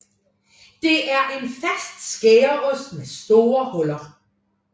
Det er en fast skæreost med store huller